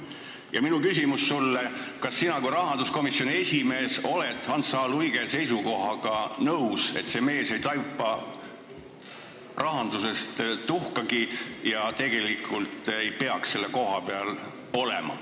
Ja minu küsimus sulle on, kas sina kui rahanduskomisjoni esimees oled Hans H. Luige seisukohaga nõus, et see mees ei taipa rahandusest tuhkagi ja ei peaks tegelikult selle koha peal olema.